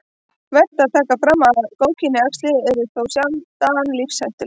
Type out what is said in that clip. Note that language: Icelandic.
Vert er að taka fram að góðkynja æxli eru þó sjaldan lífshættuleg.